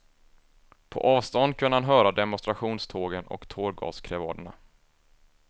På avstånd kunde han höra demonstrationstågen och tårgaskrevaderna.